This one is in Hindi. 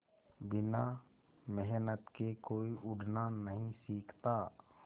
बिना मेहनत के कोई उड़ना नहीं सीखता